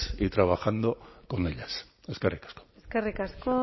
y trabajando con ellas eskerrik asko eskerrik asko